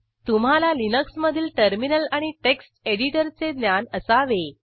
तुम्हाला लिनक्समधील टर्मिनल आणि टेक्स्ट एडिटरचे ज्ञान असावे